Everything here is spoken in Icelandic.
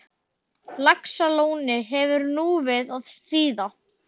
Laxalóni hefur nú við að stríða.